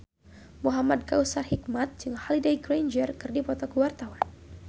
Muhamad Kautsar Hikmat jeung Holliday Grainger keur dipoto ku wartawan